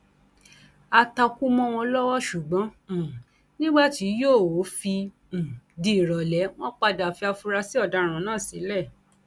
á takú mọ wọn lọwọ ṣùgbọn um nígbà tí yòówó fi um di ìrọlẹ wọn padà fi àfúrásì ọdaràn náà sílẹ